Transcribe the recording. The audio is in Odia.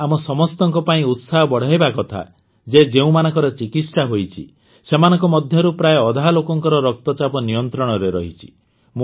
ଏହା ଆମ ସମସ୍ତଙ୍କ ପାଇଁ ଉତ୍ସାହ ବଢ଼ାଇବା କଥା ଯେ ଯେଉଁମାନଙ୍କର ଚିକିତ୍ସା ହୋଇଛି ସେମାନଙ୍କ ମଧ୍ୟରୁ ପ୍ରାୟ ଅଧା ଲୋକଙ୍କର ରକ୍ତଚାପ ନିୟନ୍ତ୍ରଣରେ ରହିଛି